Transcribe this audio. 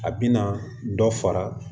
A bɛna dɔ fara